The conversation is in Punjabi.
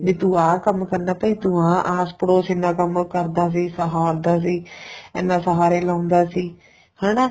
ਬੀ ਤੂੰ ਆਹ ਕੰਮ ਕਰਨਾ ਭਾਈ ਤੂੰ ਆਹ ਆਸ਼ਕ ਬੋਸ਼ ਇੰਨਾ ਕੰਮ ਕਰਦਾ ਸੀ ਸਹਾਰਦਾ ਸੀ ਇੰਨਾ ਸਹਾਰੇ ਲਾਉਂਦਾ ਸੀ ਹੈਨਾ